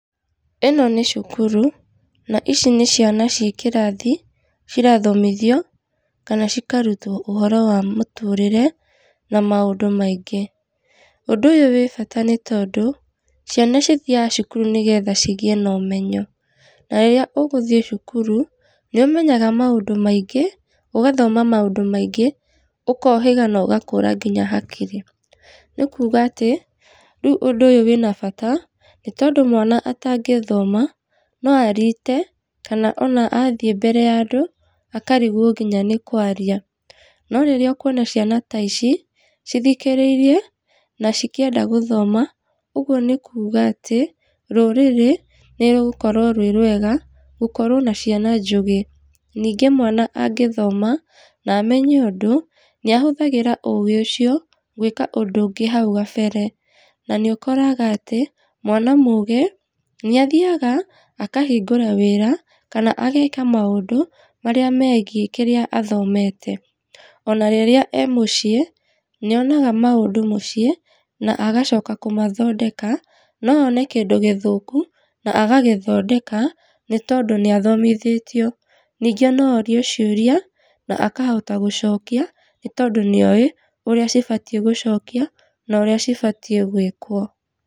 ĩno nĩ cukuru, na ici nĩ ciana ciĩ kĩrathi cirathomithio, kana cikarutwo ũhoro wa mũtũrĩre, na maũndũ maingĩ. Ũndũ ũyũ wĩ bata nĩ tondũ, ciana cithiaga cukuru nĩgetha cigĩe na ũmenyo, na rĩrĩa ũgũthiĩ cukuru, nĩ ũmenyaga maũndũ maingĩ, ũgathoma maũndũ maingĩ, ũkohĩga na ũgakũra nginya hakiri, nĩ kuuga atĩ rĩu ũndũ ũyũ wĩna bata, nĩ tondũ mwana atangĩthoma, no ariite, kana ona athiĩ mbere ya andũ akarigwo nginya nĩ kũaria, no rĩrĩa ũkuona ciana ta ici, cithikĩrĩirie na cikĩenda gũthoma, ũguo nĩ kuuga atĩ rũrĩrĩ, nĩ rũgũkorwo rwĩ rwega, gũkorwo na ciana njũgĩ. Ningĩ mwana angĩthoma, na amenye ũndũ, nĩ ahũthagĩra ũgĩ ũcio, gwĩka ũndũ ũngĩ hau gabere, na nĩ ũkoraga atĩ mwana mũgĩ nĩ athiaga akahingũra wĩra kana ageka maũndũ, marĩa megiĩ kĩrĩa athomete, ona rĩrĩa e mũciĩ, nĩ onaga maũndũ mũciĩ, na agacoka kũmathondeka, no one kĩndũ gĩthũku na agagĩthondeka, nĩ tondũ nĩ athomithĩtio, ningĩ no orio ciũria na akahota gũcokia nĩ tondũ nĩ oĩ ũrĩa cibatiĩ gũcokio, na ũrĩa cibatiĩ gwĩkwo.